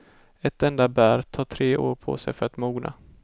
Ett enda bär tar tre år på sig för att mogna.